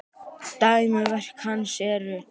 Dæmi um verk hans eru